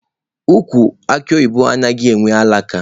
Ukwu akụ oyibo anaghị enwe alaka.